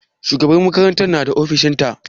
Shugabar makaranta ta na ofishin ta?